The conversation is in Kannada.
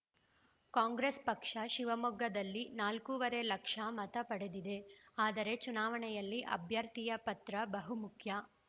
ಕಾಂಗ್ರೆಸ್‌ ಪಕ್ಷ ಶಿವಮೊಗ್ಗದಲ್ಲಿ ನಾಲ್ಕೂವರೆ ಲಕ್ಷ ಮತ ಪಡೆದಿದೆ ಆದರೆ ಚುನಾವಣೆಯಲ್ಲಿ ಅಭ್ಯರ್ಥಿಯ ಪಾತ್ರ ಬಹುಮುಖ್ಯ